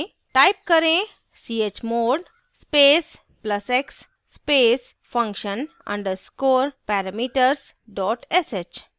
type करें chmod space plus x space function underscore parameters dot sh